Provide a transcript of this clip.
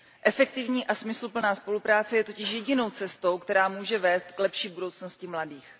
Efektivní a smysluplná spolupráce je totiž jedinou cestou, která může vést k lepší budoucnosti mladých.